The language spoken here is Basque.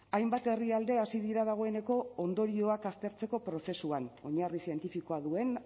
hainbat herrialde hasi dira dagoeneko ondorioak aztertzeko prozesuan oinarri zientifikoa duen